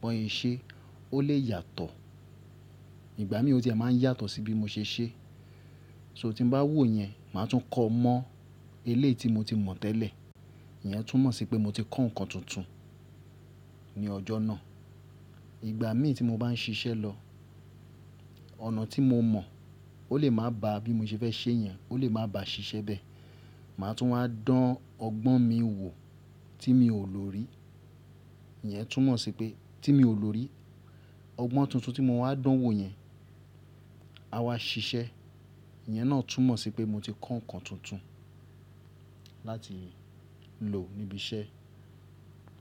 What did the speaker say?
bọ́n ṣe é, ó lè yàtọ̀. Ìgbà mi ò tí máa ń yàtọ̀ sí bí mo ṣe ṣe. So tí mo bá wò yen, màá tún kọ́ ọ mọ́ eléyì tí mo ti mọ̀ tẹ́lẹ̀. Ìyẹn tún mọ̀ sí pé mo ti kọ́ ǹkan tuntun ní ọjọ́ náà. Ìgbà mí tí mo bá n ṣiṣẹ́ lọ, ọ̀nà tí mo mọ̀, ó lè má ba à bí mo ṣe fẹ́ ṣe é yen, ó lè má ba à ṣiṣẹ́ bẹ́ẹ̀. Màá tún wá dán ọgbọ́n mi wò tí mi ò lò rí. Ìyẹn tún mọ̀ sí pé-- tí mi ò lò rí. Ọgbọ́n tuntun tí mo wá dán wò yen, a wá ṣiṣẹ́. Ìyẹn náà tún mọ̀ sí pé mo ti kọ́ ǹkan tuntun láti lò níbi iṣẹ́.